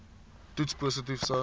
toets positief sou